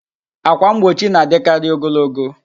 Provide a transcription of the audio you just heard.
Ákwà mgbochi na-adịkarị ogologo